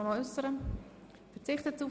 – Das ist nicht der Fall.